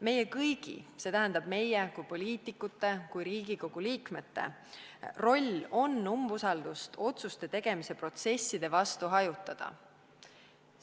Meie kõigi, st meie kui poliitikute, kui Riigikogu liikmete roll on umbusaldust otsuste tegemise protsesside vastu hajutada.